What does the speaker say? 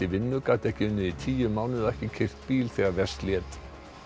í vinnu gat ekki unnið í tíu mánuði og ekki keyrt bíl þegar verst lét